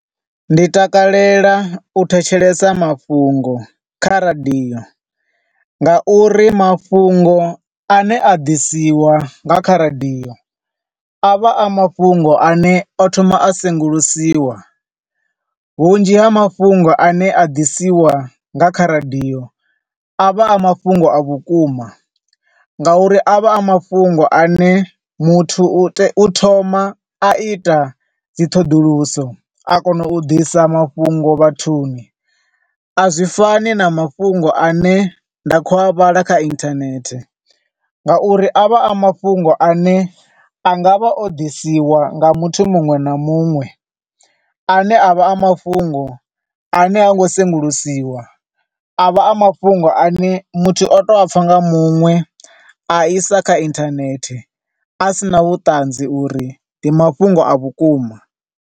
Ndi takalela u thetshelesa mafhungo kha radio nga uri mafhungo ane a ḓisiwa nga kha radio a vha a mafhungo ane o thoma a sengulusiwa. Vhunzhi ha mafhungo a ne a ḓisiwa nga kha radio avha a mafhungo a vhukuma, nga uri a vha mafhungo ane muthu u te, u thoma a ita dzi ṱhoḓuluso a kona u ḓisa mafhungo vhathuni. Azwi fani na mafhungo ane nda khou a vhala kha internet nga uri a vha a mafhungo ane a ngavha o ḓisiwa nga muthu muṅwe na muṅwe, a ne a vha a mafhungo a ne ha ngo sengulusiwa, ane a vha a mafhungo ane muthu o to a pfa nga muṅwe a isa kha internet, a sina vhuṱanzi uri ndi mafhungo a vhukuma.